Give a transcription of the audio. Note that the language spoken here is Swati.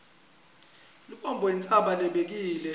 lubombo intsaba lebekile